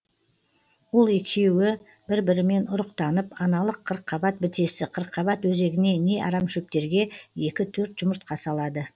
ол екеуі бір бірімен ұрықтанып аналық қырыққабат бітесі қырыққабат өзегіне не арамшөптерге екі төрт жұмыртқа салады